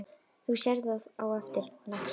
Þú sérð það á eftir, lagsi.